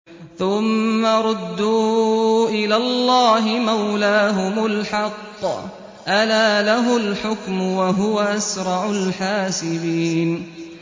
ثُمَّ رُدُّوا إِلَى اللَّهِ مَوْلَاهُمُ الْحَقِّ ۚ أَلَا لَهُ الْحُكْمُ وَهُوَ أَسْرَعُ الْحَاسِبِينَ